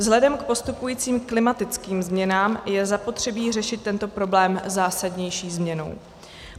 Vzhledem k postupujícím klimatickým změnám je zapotřebí řešit tento problém zásadnější změnou.